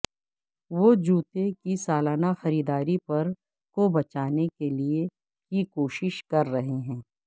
وہ جوتے کی سالانہ خریداری پر کو بچانے کے لئے کی کوشش کر رہے ہیں